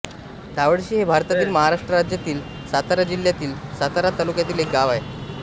धावडशी हे भारतातील महाराष्ट्र राज्यातील सातारा जिल्ह्यातील सातारा तालुक्यातील एक गाव आहे